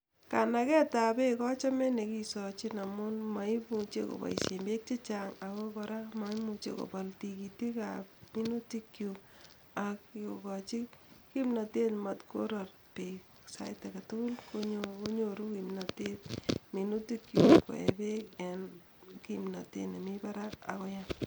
Kanagetap peek achome nekisoochin amun moimuche kopoisyen peek chechang' ago kora komaimuchi kopol tigitikap minutikyuk ak kogochi kimnatet mat koror peek sait agetugul konyoru kimnatet minutikyuk koe peek en kimnatet nemi parak